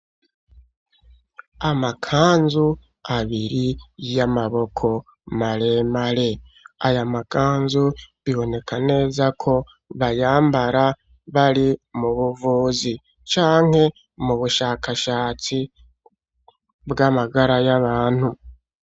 Amakanzu abiri yamaboko maremare , amakanzu bibonekako bayambara bari mubuvuzi canke mubushakashatsi bwamagara yabantu.